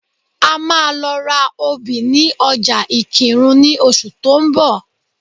A máa lọ ra obì ní ọjà Ìkìrun ní oṣù tó ń bọ̀